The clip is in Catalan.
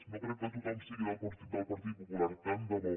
no crec que tothom sigui del partit popular tant de bo